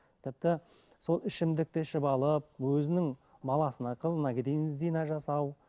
тіпті сол ішімдікті ішіп алып өзінің баласына қызына дейін зина жасау